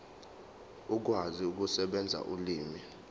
ukwazi ukusebenzisa ulimi